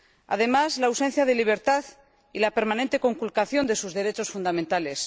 Además, la ausencia de libertad y la permanente conculcación de sus derechos fundamentales.